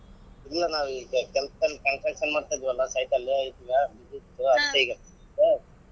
ಇಲ್ಲಾ ನಾವ್ ಈಗ ಕೆಲಸದಲ್ಲಿ construction ಮಾಡ್ತಿದ್ವಲ್ಲ site ಅಲ್ವೇ ಇದ್ವಾ busy ಇರ್ತೀವಾ ಅದ್ಕೆ ಈಗ.